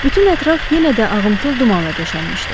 Bütün ətraf yenə də ağımtıl dumanla döşənmişdi.